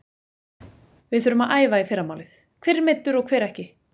Við þurfum að æfa í fyrramálið, hver er meiddur og hver ekki?